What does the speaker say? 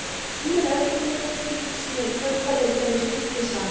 Önnur Evrópulönd fylgdu síðan í kjölfarið og gerðu slíkt hið sama.